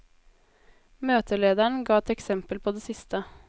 Møtelederen ga et eksempel på det siste.